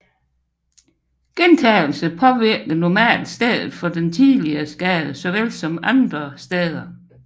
Gentagelse påvirker normalt stedet for den tidligere skade såvel som andre regioner